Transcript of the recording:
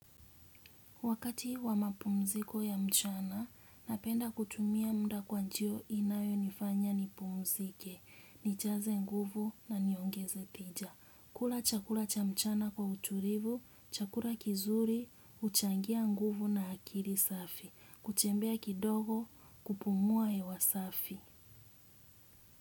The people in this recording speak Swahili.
Wakati wa mapumziko ya mchana, napenda kutumia muda kwa njia inayonifanya nipumzike, nijaze nguvu na niongeze tija. Kula chakula cha mchana kwa utulivu, chakula kizuri, huchangia nguvu na akili safi. Kutembea kidogo kupumua hewa safi.